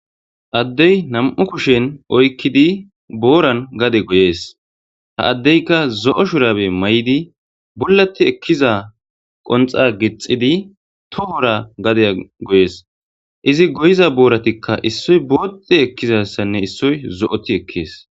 addey nam7u kushen oykkidi booran gade goyees ha addeyka zo7o shurabe may7idi bollati ekkiza qonxa gixidi tohora gade goyees izi goyiza booratikka issoy boote ekkizassanne issoy zo7oti ekkees